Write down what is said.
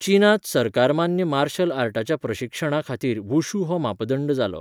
चीनांत सरकारमान्य मार्शल आर्टाच्या प्रशिक्षणाखातीर वुशू हो मापदंड जालो.